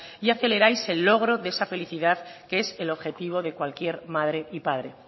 y aceleráis el logro de esa felicidad que es el objetivo de cualquier madre y padre